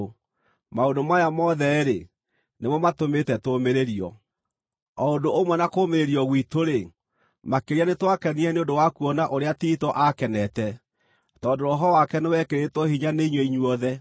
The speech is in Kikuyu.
Maũndũ maya mothe-rĩ, nĩmo matũmĩte tũũmĩrĩrio. O ũndũ ũmwe na kũũmĩrĩrio gwitũ-rĩ, makĩria nĩtwakenire nĩ ũndũ wa kuona ũrĩa Tito aakenete, tondũ roho wake nĩwekĩrĩtwo hinya nĩ inyuĩ inyuothe.